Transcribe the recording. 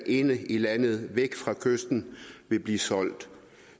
inde i landet væk fra kysten vil blive solgt